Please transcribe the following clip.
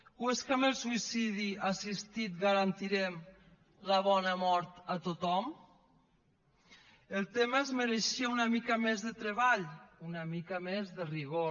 o és que amb el suïcidi assistit garantirem la bona mort a tothom el tema es mereixia una mica més de treball una mica més de rigor